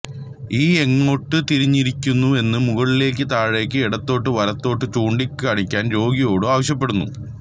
E എങ്ങോട്ട് തിരിഞ്ഞിരിക്കുന്നുവെന്ന് മുകളിലേക്ക് താഴേക്ക് ഇടത്തോട്ട് വലത്തോട്ട് ചൂണ്ടിക്കാണിക്കാൻ രോഗിയോട് ആവശ്യപ്പെടുന്നു